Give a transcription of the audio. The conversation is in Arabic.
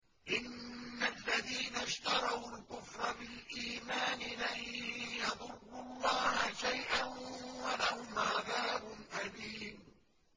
إِنَّ الَّذِينَ اشْتَرَوُا الْكُفْرَ بِالْإِيمَانِ لَن يَضُرُّوا اللَّهَ شَيْئًا وَلَهُمْ عَذَابٌ أَلِيمٌ